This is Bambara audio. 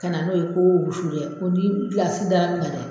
Ka na n'o ye ko wusu dɛ ko ni gilasi d'a kan dɛ.